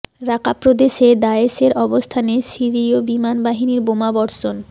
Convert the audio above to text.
রাকা প্রদেশে দায়েশের অবস্থানে সিরিয় বিমান বাহিনীর বোমা বর্ষণ